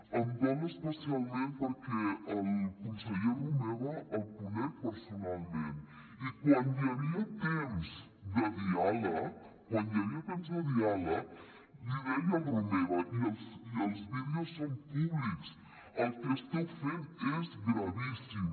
em dol especialment perquè al conseller romeva el conec personalment i quan hi havia temps de diàleg quan hi havia temps de diàleg l’hi deia al romeva i els vídeos són públics el que esteu fent és gravíssim